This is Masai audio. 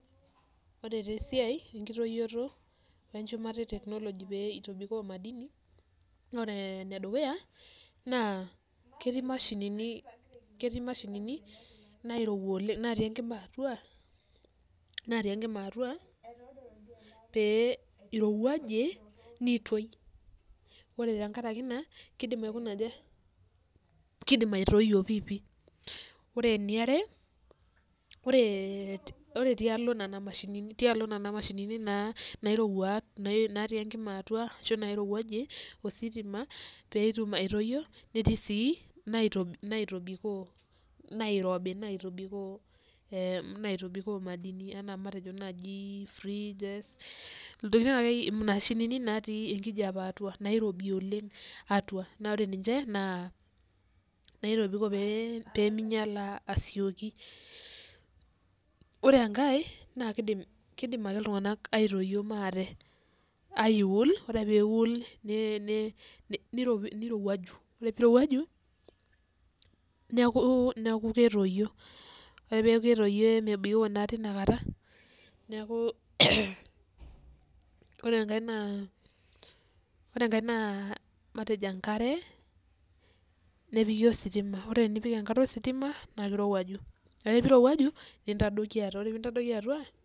Ore taa esiai enkitoyioto wenjumata eteknologi pee itobikoo madini, ore enedukuya naa ketii imashinini nairowua oleng' natii enkima atua, pee irowuaje nitoi. Ore tenkaraki ina kiidim aitoyio piipi. Ore eniare ore ee tialo nena mashinini natii enkima atua ashu nairowuaje ositima peetum aitoyio, netii sii inaitobikoo nairobi naitobikoo madini enaa matejo naaji freeges intokitin akeyie imashinini natii enkijape atua, nairobi oleng' atua. Naa ore ninje naa naitobikoo peeminyiala asioki. Ore enkae naakidim ake iltunganak aitoyio maate, aiwual ore ake pee iwuul nirowuaju, ore peeirowuaju neeku ketoyio, ore ake peeku ketoyio emebikoo naa teinakata. Ore enkae naa matejo enkare nepiki ositima, ore piipik enkare ositima naa kirowuaju ore pee irowuaju nintadoiki atua.